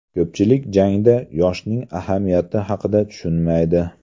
Ko‘pchilik jangda yoshning ahamiyati haqida tushunmaydi.